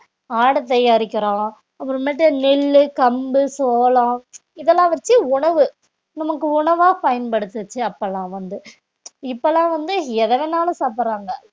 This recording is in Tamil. ஆடை தயாரிக்கிறோம் அப்புறமேட்டு நெல்லு, கம்பு, சோளம் இதெல்லாம் வச்சு உணவு நமக்கு உணவா பயன்படுத்துச்சு அப்பெல்லாம் வந்து இப்பெல்லாம் வந்து எத வேணாலும் சாப்பிடறாங்க